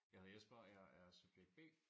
Jeg er Jesper og jeg er subjekt B